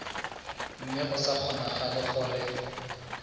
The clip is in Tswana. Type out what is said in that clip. mme go sa kgonagale gore